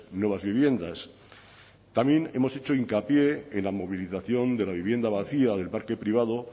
nuevas viviendas también hemos hecho hincapié en la movilización de la vivienda vacía del parque privado